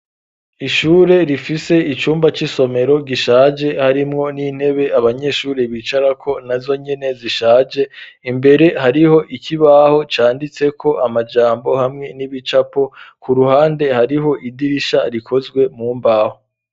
Ishure rifise icumba c'isomero gishaje harimwo n'intebe abanyeshuri bicarako na zonyene zishaje imbere hariho ikibaho canditseko amajambo hamwe n'ibicapo ku ruhande hariho idirisha rikozwe mumbaho